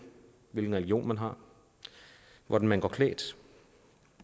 hvilken religion man har hvordan man går klædt